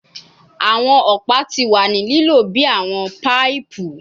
Awọn ọpa ti wa ni lilo bi awọn paipu